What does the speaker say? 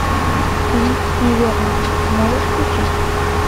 фильм неверная можешь включить